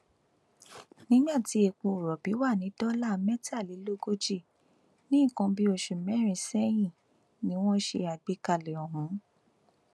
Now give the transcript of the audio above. nígbà tí epo rọbì wà ní dọlà mẹtàlélógójì ní nǹkan bíi oṣù mẹrin sẹyìn ni wọn ṣe àgbékalẹ ọhún